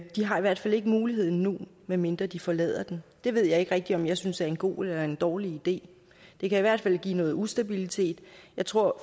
de har i hvert fald ikke muligheden nu medmindre de forlader den det ved jeg ikke rigtig om jeg synes er en god eller en dårlig idé det kan i hvert fald give noget ustabilitet jeg tror